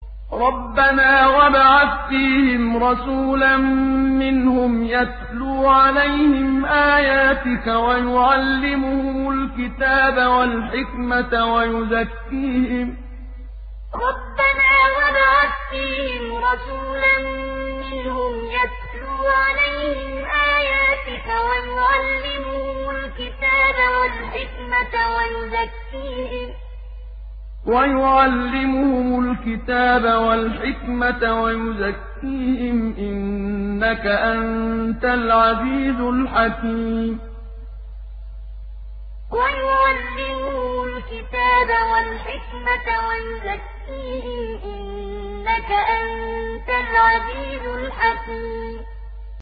رَبَّنَا وَابْعَثْ فِيهِمْ رَسُولًا مِّنْهُمْ يَتْلُو عَلَيْهِمْ آيَاتِكَ وَيُعَلِّمُهُمُ الْكِتَابَ وَالْحِكْمَةَ وَيُزَكِّيهِمْ ۚ إِنَّكَ أَنتَ الْعَزِيزُ الْحَكِيمُ رَبَّنَا وَابْعَثْ فِيهِمْ رَسُولًا مِّنْهُمْ يَتْلُو عَلَيْهِمْ آيَاتِكَ وَيُعَلِّمُهُمُ الْكِتَابَ وَالْحِكْمَةَ وَيُزَكِّيهِمْ ۚ إِنَّكَ أَنتَ الْعَزِيزُ الْحَكِيمُ